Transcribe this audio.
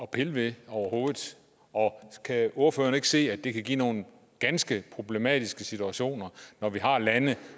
pille ved overhovedet kan ordføreren ikke se at det kan give nogle ganske problematiske situationer når vi har lande